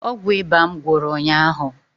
Ọgwụ ịba m gwụrụ ụnyaahụ